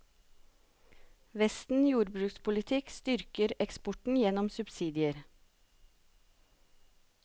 Vesten jordbrukspolitikk styrker eksporten gjennom subsidier.